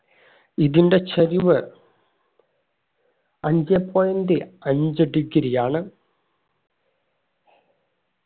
ഇതിന്റെ ചരിവ് അഞ്ചേ point അഞ്ച്‌ degree ആണ്